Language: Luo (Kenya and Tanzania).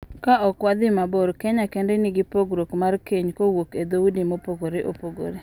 Ka ok wadhi mabor, Kenya kende nigi pogruok mar keny kowuok e dhoudi mopogore opogore.